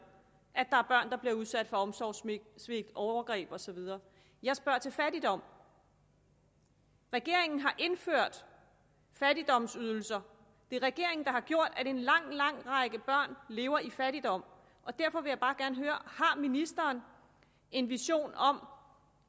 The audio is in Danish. at børn der bliver udsat for omsorgssvigt overgreb og så videre jeg spørger til fattigdom regeringen har indført fattigdomsydelser det er regeringen der har gjort at en lang lang række børn lever i fattigdom og derfor vil jeg bare gerne høre har ministeren en vision om